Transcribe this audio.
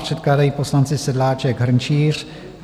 Předkládají poslanci Sedláček, Hrnčíř.